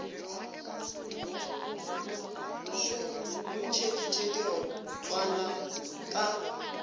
šoo o ntšheditše dirotswana ka